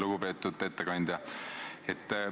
Lugupeetud ettekandja!